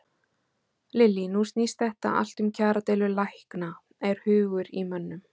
Lillý: Nú snýst þetta allt um kjaradeilu lækna, er hugur í mönnum?